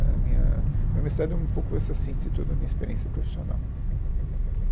A minha minha universidade é um pouco essa síntese toda da minha experiência profissional.